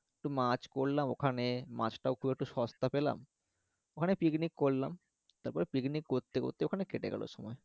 তো মাছ করলাম ওখানে মাছটাও খুব একটা সস্তা পেলাম ওখানে পিকনিক করলাম তারপরে পিকনিক করতে করতে ওখানে কেটে গেলো সময়